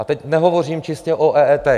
A teď nehovořím čistě o EET.